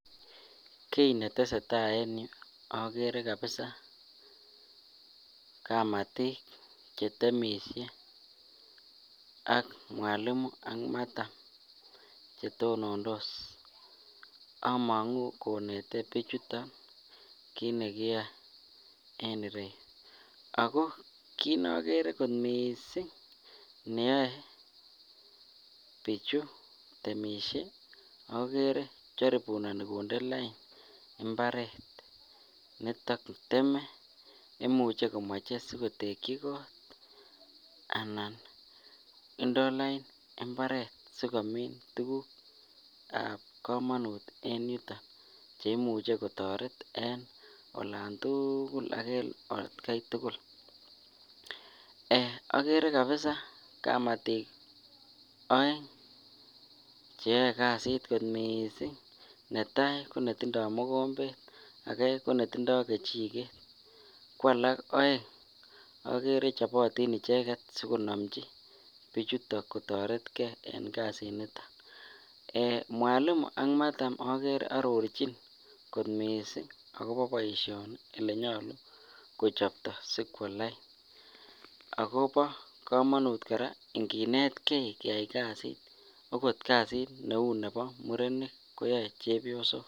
Kii neteseta en yuu okere kabisaa kamatik chetemishe ak mwalimu ak madam chetonondos among'u konete bichuton kiit nekiyoe en ireyu ak ko kiit nokere kot mising neyoe bichu temisie okere jaribunoni konde lain mbaret neteme imuche komoche sikomoche kotekyi koot anan indoo lain imbaret sikomin tukukab komonut en yuton cheimuche kotoret en olantukul ak en atkai tukul, Um okere kabisaa kamatik oeng cheyoe kasit kot mising netaa konetindo mokombet akee ko netindo kechiket kwalak oeng okere chobotin icheket sikonomchi bichuton kotoretke en kasinito, mwalimu ak madam okere ororchin kot mising akobo boishoni elenyolu kochopto sikwo lain ak kobo komonut kora inginetke keyai kasit okot kasit neu nebo murenik koyoe chebiosok.